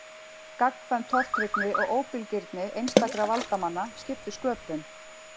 Gagnkvæm tortryggni og óbilgirni einstakra valdamanna skiptu sköpum.